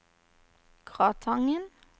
Gratangen